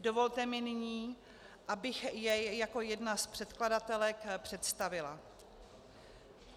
Dovolte mi nyní, abych jej jako jedna z předkladatelek představila.